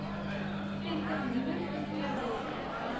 vestig nuwe voedselproduksie